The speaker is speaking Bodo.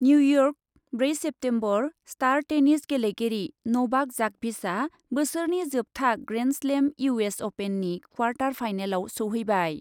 निउइयर्क, ब्रै सेप्तेम्बर स्टार टेनिस गेलेगिरि नभाक जकभिचआ बोसोरनि जोबथा ग्रेन्डस्लेम इउ एस अपेननि क्वार्टार फाइनालाव सौहैबाय।